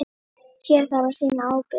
Hér þarf að sýna ábyrgð.